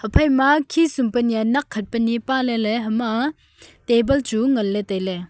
phaima khisum pe nyi a nak khat pe nyi e palele hama table chu ngan le taile.